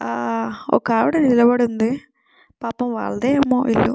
హా వక ఆవిడా నిలబడి ఉంది పాపమూ వాళ్లదే ఏమో ఇల్లు --